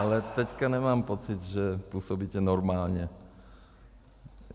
Ale teď nemám pocit, že působíte normálně.